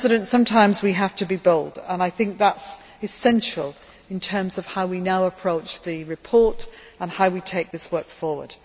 Sometimes we have to be bold, and I think that is essential in terms of how we now approach the report and take this work forward.